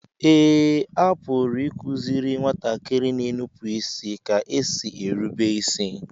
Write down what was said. Eé, a pụrụ ịkụziri nwatakịrị na-enupụ ka e si erube isi